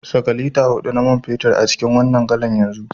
Saka lita hudu na man fetur a cikin wannan galan yanzu